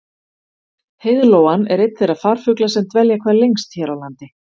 Heiðlóan er einn þeirra farfugla sem dvelja hvað lengst hér á landi.